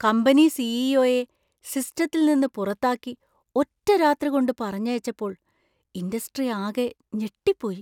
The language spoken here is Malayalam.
കമ്പനി സി.ഇ.ഒ.യെ സിസ്റ്റത്തിൽ നിന്ന് പുറത്താക്കി ഒറ്റരാത്രികൊണ്ട് പറഞ്ഞയച്ചപ്പോൾ ഇൻഡസ്ട്രി ആകെ ഞെട്ടിപ്പോയി.